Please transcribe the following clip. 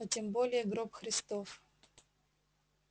а тем более гроб христов